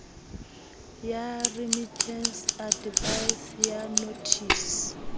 ya remittance advice ya nothisi